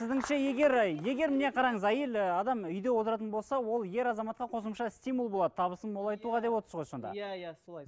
сіздіңше егер егер міне қараңыз әйел і адам үйде отыратын болса ол ер азаматқа қосымша стимул болады табысын молайтуға деп отырсыз ғой сонда иә иә солай